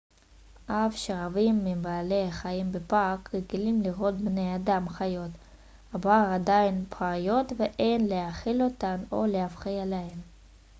אף שרבים מבעלי החיים בפארק רגילים לראות בני אדם חיות הבר עדיין פראיות ואין להאכיל אותן או להפריע להן